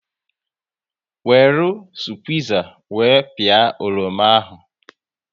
Weru squiza wee pịa oroma ahụ